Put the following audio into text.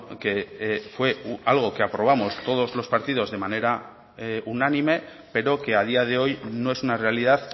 que fue algo que aprobamos todos los partidos de manera unánime pero que a día de hoy no es una realidad